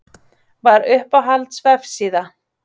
Vatn Uppáhalds vefsíða?